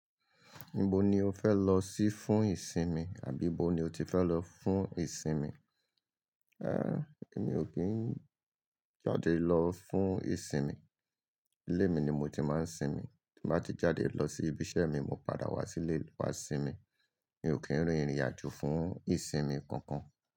Ibo ni o fẹ lọ sí fún ìsinmi àbí ibó ni o ti fẹ lọ fún ìsinmi? Èmi ò kí ń jáde lọ fún ìsinmi. Ilé mi ni mo ti máa ń sinmi. Bí mo bá ti jáde lọ sí ibi iṣẹ́ mi, mo padà wá sílé wa sinmi. Mi ò kí ń rin ìrìn àjò fún ìsinmi kankan.